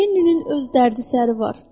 Amma Lenninin öz dərdi səri var.